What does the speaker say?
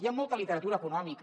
hi ha molta literatura econòmica